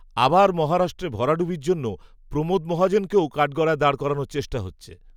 আবার মহারাষ্ট্রে ভরাডুবির জন্য, প্রমোদ মহাজনকেও, কাঠগড়ায় দাঁড় করানোর চেষ্টা হচ্ছে